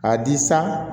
K'a di san